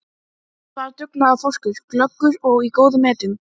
Hann var dugnaðarforkur, glöggur og í góðum metum.